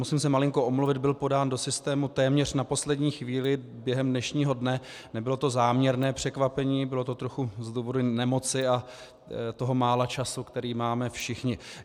Musím se malinko omluvit, byl podán do systému téměř na poslední chvíli, během dnešního dne, nebylo to záměrné překvapení, bylo to trochu z důvodu nemoci a toho mála času, který máme všichni.